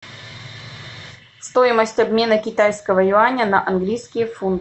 стоимость обмена китайского юаня на английские фунты